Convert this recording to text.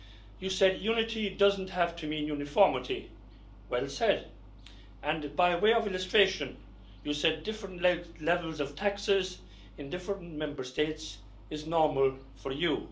You said that unity doesn't have to mean uniformity. Well said. By way of illustration, you said that different levels of taxes in different Member States are normal for